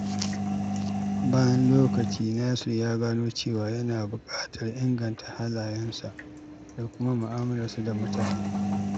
Bayan lokaci, Nasir ya gano cewa yana buƙatar inganta halayensa da kuma mu'amalarsa da mutane.